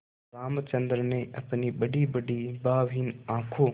रामचंद्र ने अपनी बड़ीबड़ी भावहीन आँखों